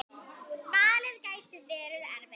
Valið gæti verið erfitt.